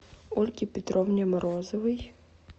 ольге петровне морозовой